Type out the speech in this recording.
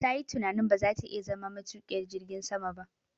Tayi tunanin ba za ta iya zama matuƙiyar jirgin sama ba